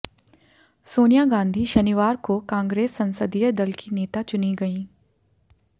सोनिया गांधी शनिवार को कांग्रेस संसदीय दल की नेता चुनी गईं